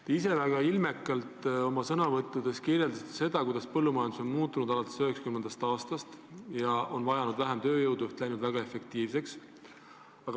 Te olete väga ilmekalt oma sõnavõttudes kirjeldanud, kuidas põllumajandus on alates 1990. aastast muutunud: vajatakse vähem tööjõudu, kõik on läinud väga efektiivseks.